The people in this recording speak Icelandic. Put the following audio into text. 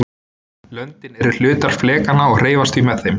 Löndin eru hlutar flekanna og hreyfast því með þeim.